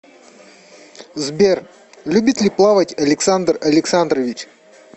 сбер любит ли плавать александр александрович